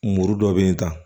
Muru dɔ bɛ yen tan